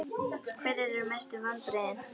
Hverjir eru mestu vonbrigðin?